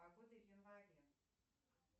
погода в январе